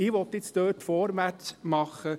Ich will in Köniz jetzt vorwärtsmachen.